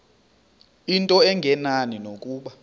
into engenani nokuba